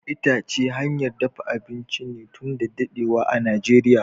Itace hanyar dafa abinci ne tun da dadewa a najeria.